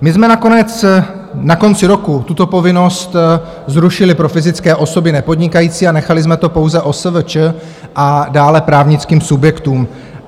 My jsme nakonec na konci roku tuto povinnost zrušili pro fyzické osoby nepodnikající a nechali jsme to pouze OSVČ a dále právnickým subjektům.